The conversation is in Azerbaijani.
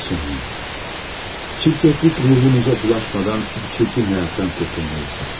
Sonya, çirkəflik ruhunuza bulaşmadan bu çirkin həyatdan qurtulmalısınız.